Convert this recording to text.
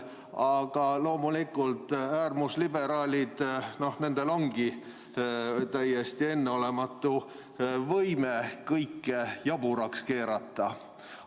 Aga loomulikult, äärmusliberaalid, nendel ongi täiesti enneolematu võime kõike jaburaks keerata.